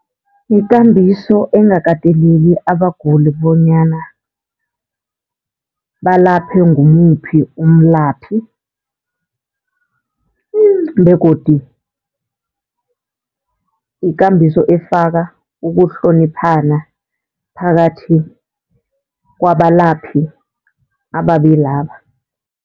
Yikambiso engakateleli abaguli bonyana balaphe ngimuphi umlaphi begodu yikambiso efaka ukuhloniphana phakathi kwabalaphi ababilaba.